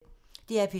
DR P2